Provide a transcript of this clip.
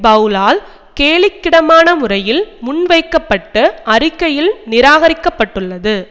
பெளலால் கேலிக்கிடமான முறையில் முன்வைக்க பட்டு அறிக்கையில் நிராகரிக்க பட்டுள்ளது